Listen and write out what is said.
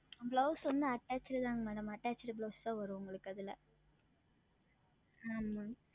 Blouse வந்து Attached தான் MadamAttached Blouse தான் வரும் உங்களுக்கு அதில் உம்